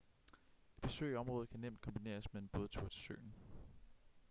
et besøg i området kan nemt kombineres med en bådtur til søen